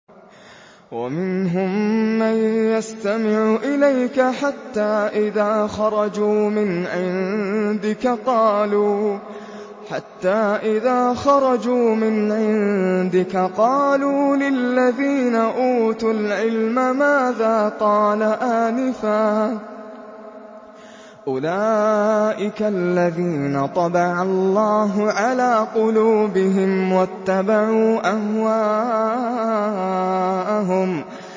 وَمِنْهُم مَّن يَسْتَمِعُ إِلَيْكَ حَتَّىٰ إِذَا خَرَجُوا مِنْ عِندِكَ قَالُوا لِلَّذِينَ أُوتُوا الْعِلْمَ مَاذَا قَالَ آنِفًا ۚ أُولَٰئِكَ الَّذِينَ طَبَعَ اللَّهُ عَلَىٰ قُلُوبِهِمْ وَاتَّبَعُوا أَهْوَاءَهُمْ